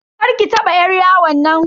Karki taba yar yawon.